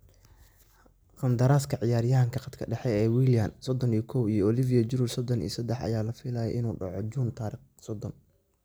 Qandaraaska ciyaaryahanka khadka dhexe Willian, 31, iyo Olivier Giroud, 33, ayaa la filayaa inuu dhaco June 30.